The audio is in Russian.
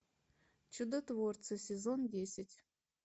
чудотворцы сезон десять